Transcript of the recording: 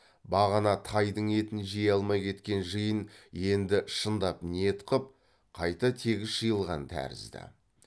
бағана тайдың етін жей алмай кеткен жиын енді шындап ниет қып қайта тегіс жиылған тәрізді